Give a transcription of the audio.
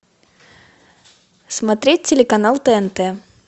смотреть телеканал тнт